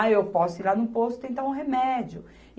Aí eu posso ir lá no posto tentar um remédio.